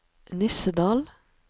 Nissedal